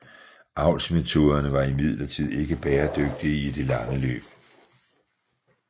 Avlsmetoderne var imidlertid ikke bæredygtige i det lange løb